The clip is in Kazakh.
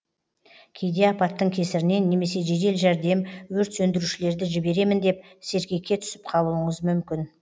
кейде апаттың кесірінен немесе жедел жәрдем өрт сөндірушілерді жіберемін деп сергекке түсіп қалуыңыз мүмкін